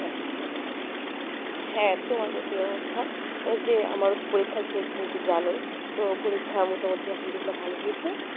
হ্যাঁ তোমার মতোই অবস্থা এই যে আমার ও তো পরীক্ষা শেষ তুমি তো জানোই তো পরীক্ষা মোটামুটি আল্হামদুলিল্লাহ ভালো হয়েছে